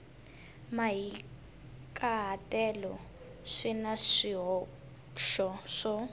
mahikahatelo swi na swihoxo swo